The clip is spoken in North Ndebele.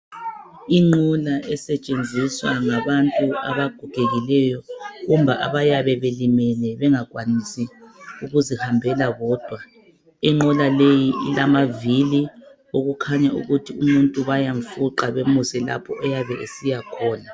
Inqola esetshenziswa ngabantu abagogekileyo kumbe abaye belimele bengakwanisi ukuzihambela bodwa. Inqola leyi ilamavili okukhanya ukuthi umuntu bayamfuqa bemuse lapho ayabe esiyakhona.